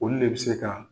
Olu le be se ka